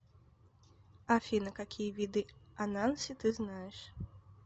афина какие виды ананси ты знаешь